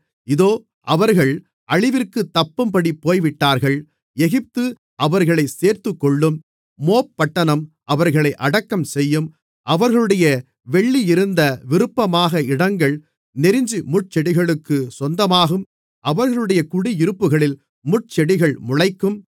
இதோ அவர்கள் அழிவிற்குத் தப்பும்படி போய்விட்டார்கள் எகிப்து அவர்களைச் சேர்த்துக்கொள்ளும் மோப் பட்டணம் அவர்களை அடக்கம் செய்யும் அவர்களுடைய வெள்ளியிருந்த விருப்பமான இடங்கள் நெருஞ்சிமுட்செடிகளுக்குச் சொந்தமாகும் அவர்களுடைய குடியிருப்புகளில் முட்செடிகள் முளைக்கும்